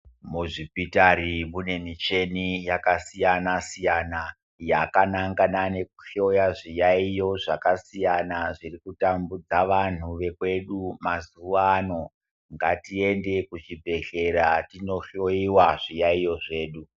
Muzvipitari mune micheni yakasiyana siyana yakanangana nekuhloya zviyaiyo zvakasiyana zvirikutambudza vanhu vekwedu mazuwano ngatiendei kuzvibhedhlera tinohloyiwa zviyaiyo zvedu.